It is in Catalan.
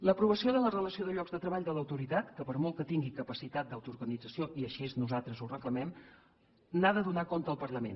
l’aprovació de la relació de llocs de treball de l’autoritat que per molt que tingui capacitat d’autoorganització i així nosaltres ho reclamem n’ha de donar compte al parlament